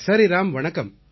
சரி ராம் வணக்கம்